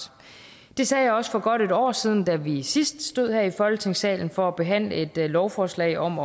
det sagde jeg også for godt et år siden da vi sidst stod her i folketingssalen for at behandle et lovforslag om